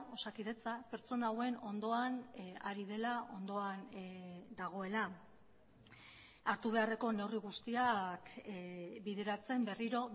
osakidetza pertsona hauen ondoan ari dela ondoan dagoela hartu beharreko neurri guztiak bideratzen berriro